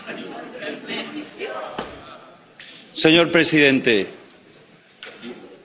Señor presidente, los británicos han decidido irse.